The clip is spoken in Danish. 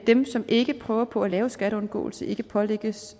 dem som ikke prøver på at lave skatteundgåelse ikke pålægges